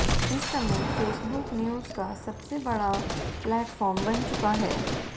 इस समय Facebook news का सबसे बड़ा प्लेटफॉर्म बन चुका है